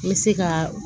N bɛ se ka